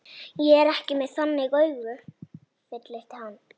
Ég er ekki með þannig augu, fullyrti hann.